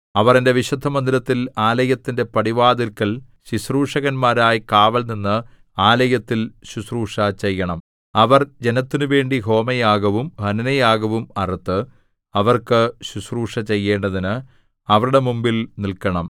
അവർ എന്റെ വിശുദ്ധമന്ദിരത്തിൽ ആലയത്തിന്റെ പടിവാതില്ക്കൽ ശുശ്രൂഷകന്മാരായി കാവൽനിന്ന് ആലയത്തിൽ ശുശ്രൂഷ ചെയ്യണം അവർ ജനത്തിനുവേണ്ടി ഹോമയാഗവും ഹനനയാഗവും അറുത്ത് അവർക്ക് ശുശ്രൂഷ ചെയ്യേണ്ടതിന് അവരുടെ മുമ്പിൽ നില്‍ക്കണം